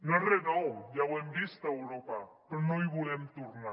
no és re nou ja ho hem vist a europa però no hi volem tornar